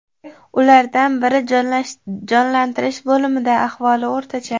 Ulardan biri jonlantirish bo‘limida, ahvoli o‘rtacha.